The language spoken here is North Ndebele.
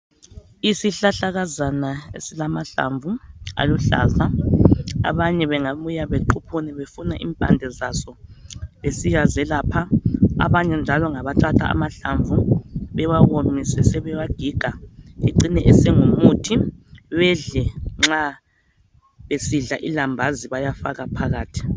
Yisihlahlakazana esilamahlamvu aluhlaza abanye bengabuya bequphune befuna impande zaso besiyazelapha abanye njalo ngabathatha amahlamvu bewawomise besebewagiga bedle nxa besidla ulambazi besebewafaka phakathi